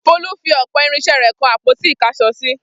Folú fi ọ̀pọ̀ irinṣẹ́ rẹ̀ kan àpótí-ìkáṣọsí.